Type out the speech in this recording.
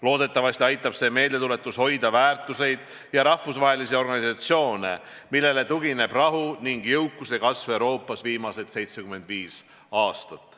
Loodetavasti aitab see meeldetuletus hoida väärtusi ja rahvusvahelisi organisatsioone, millele tugineb rahu ning jõukuse kasv Euroopas viimased 75 aastat.